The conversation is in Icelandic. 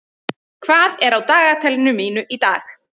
, hvað er á dagatalinu mínu í dag?